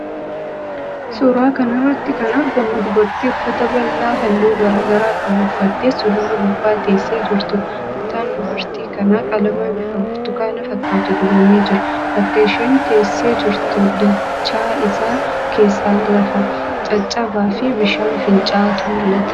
Suuraa kana irratti kan argamu dubartii uffata bal'aa halluu garaa garaa qabu uffattee suluula gubbaa teessee jirtuudha. Mataan dubartii kanaa qalama bifa burtukaanaa fakkaatu dibamee jira. Bakka isheen teessee jirtu dachaa isaa keessaan lafa caccabaafi bishaan finca'aatu mul'ata.